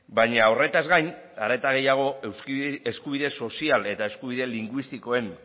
baina horretaz gain are eta gehiago eskubide sozial eta eskubide linguistikoen